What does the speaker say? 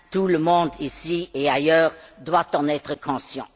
Tout le monde, ici et ailleurs, doit en être conscient.